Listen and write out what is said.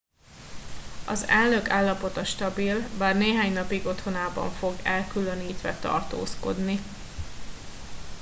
az elnök állapota stabil bár néhány napig otthonában fog elkülönítve tartózkodni